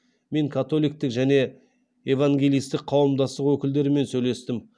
мен католиктік және евангелисттік қауымдастық өкілдерімен сөйлестім